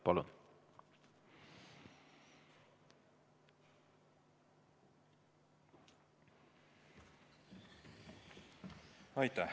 Palun!